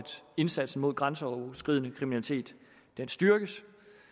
indsatsen mod grænseoverskridende kriminalitet styrkes